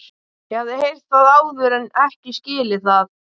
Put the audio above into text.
Ég hafði heyrt það áður en ekki skilið það.